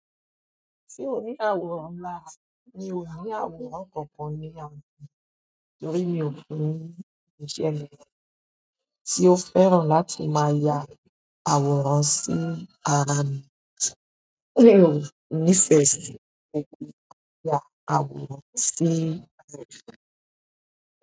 Ṣé o ní àwòrán lára, mi ò ní àwòrán kankan ní àra, torí mi òbínrin ni mi mi ṣe lè. Tí o fẹ́ràn láti máa ya àwòrán sí ara mi, mi ò ní festi láti máa ya àwòrán sí ara mi.